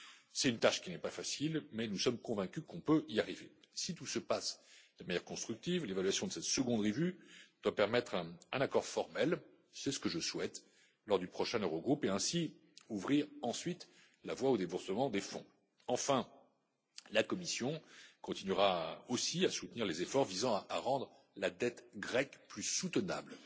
C'est une tâche qui n'est pas facile, mais nous sommes convaincus que nous pouvons y arriver. Si tout se passe de manière constructive, l'évaluation de cette seconde revue doit permettre un accord formel c'est ce que je souhaite lors du prochain Eurogroupe et ainsi ouvrir ensuite la voie au déboursement des fonds. Enfin, la Commission continuera aussi à soutenir les efforts visant à rendre la dette grecque plus